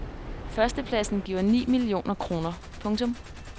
Førstepladsen giver ni millioner kroner. punktum